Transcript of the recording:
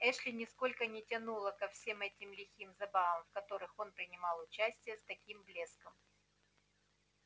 эшли нисколько не тянуло ко всем этим лихим забавам в которых он принимал участие с таким блеском